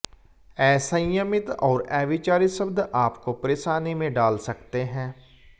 असंयमित और अविचारी शब्द आपको परेशानी में डाल सकते हैं